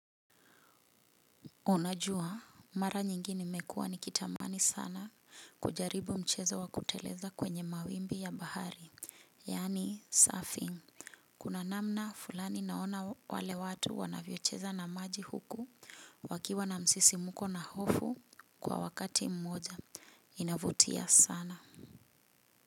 Unajua, mara nyingi nimekua nikitamani sana kujaribu mchezo wa kuteleza kwenye mawimbi ya bahari, yaani surfing. Kuna namna fulani naona wale watu wanavyocheza na maji huku wakiwa na msisimuko na hofu kwa wakati mmoja. Inavutia sana.